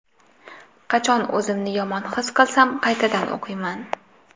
Qachon o‘zimni yomon his qilsam qaytadan o‘qiyman.